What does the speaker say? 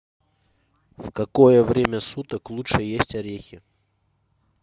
в какое время суток лучше есть орехи